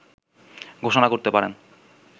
ঘোষণা করতে পারেন